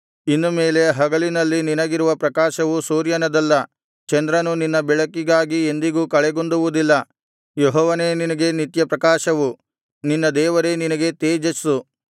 ಇನ್ನು ಮೇಲೆ ಹಗಲಿನಲ್ಲಿ ನಿನಗಿರುವ ಪ್ರಕಾಶವು ಸೂರ್ಯನದಲ್ಲ ಚಂದ್ರನು ನಿನ್ನ ಬೆಳಕಿಗಾಗಿ ಎಂದಿಗೂ ಕಳೆಗುಂದುವುದಿಲ್ಲ ಯೆಹೋವನೇ ನಿನಗೆ ನಿತ್ಯಪ್ರಕಾಶವು ನಿನ್ನ ದೇವರೇ ನಿನಗೆ ತೇಜಸ್ಸು